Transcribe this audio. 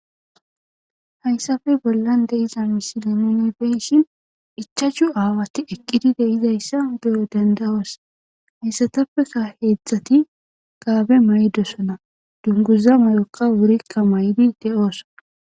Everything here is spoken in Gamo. hayssafe bollan de'iza misile nuni beyshin ichachu aawati eqqidi de'izayssa be'o dandayos hayssatappeka heedzdzati gaabe mayidosona dunguza mayokka wurikka mayidi de'oosona